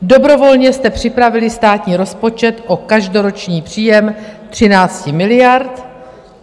Dobrovolně jste připravili státní rozpočet o každoroční příjem 13 miliard.